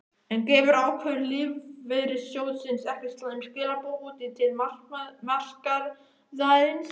En gefur ákvörðun lífeyrissjóðsins ekki slæm skilaboð út til markaðarins?